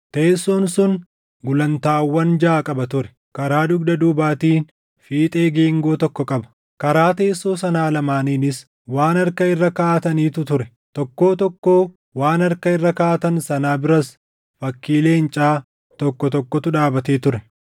Teessoon sun gulantaawwan jaʼa qaba ture; karaa dugda duubaatiin fiixee geengoo tokko qaba. Karaa teessoo sanaa lamaaniinis waan harka irra kaaʼatanitu ture; tokkoo tokkoo waan harka irra kaaʼatan sanaa biras fakkii leencaa tokko tokkotu dhaabatee ture.